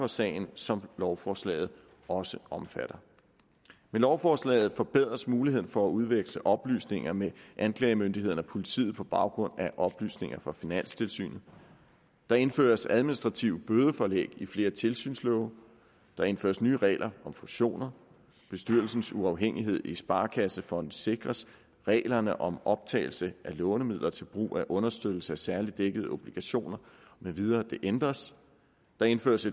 sagen som lovforslaget også omfatter med lovforslaget forbedres muligheden for at udveksle oplysninger med anklagemyndigheden og politiet på baggrund af oplysninger fra finanstilsynet der indføres administrative bødepålæg i flere tilsynslove der indføres nye regler om fusioner bestyrelsens uafhængighed i sparekassefonde sikres reglerne om optagelse af lånemidler til brug af understøttelse af særligt dækkede obligationer med videre ændres der indføres